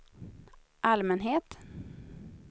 allmänhet